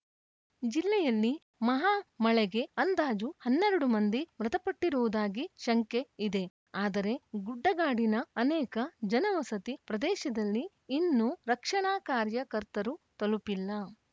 ಜಿಲ್ಲೆಯಲ್ಲಿ ಮಹಾ ಮಳೆಗೆ ಅಂದಾಜು ಹನ್ನೆರಡು ಮಂದಿ ಮೃತಪಟ್ಟಿರುವುದಾಗಿ ಶಂಕೆ ಇದೆ ಆದರೆ ಗುಡ್ಡಗಾಡಿನ ಅನೇಕ ಜನವಸತಿ ಪ್ರದೇಶದಲ್ಲಿ ಇನ್ನೂ ರಕ್ಷಣಾ ಕಾರ್ಯಕರ್ತರು ತಲುಪಿಲ್ಲ